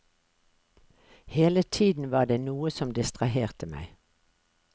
Hele tiden var det noe som distraherte meg.